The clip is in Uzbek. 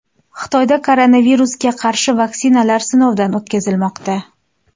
Xitoyda koronavirusga qarshi vaksinalar sinovdan o‘tkazilmoqda.